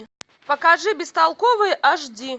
покажи бестолковые аш ди